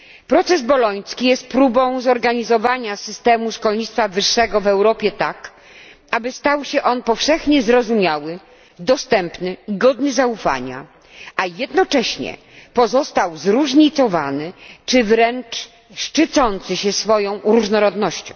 Proces boloński jest próbą zorganizowania systemu szkolnictwa wyższego w Europie tak, aby stał się on powszechnie zrozumiały, dostępny, godny zaufania, a jednocześnie pozostał zróżnicowany czy wręcz szczycący się swoją różnorodnością.